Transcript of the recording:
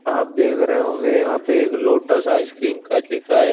आप देख रहे होंगे यहा पे एक लोटस आइस क्रीम ख त लिखा है।